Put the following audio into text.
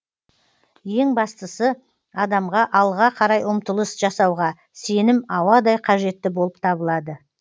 ең бастысы адамға алға қарай ұмтылыс жасауға сенім ауадай қажетті болып табылады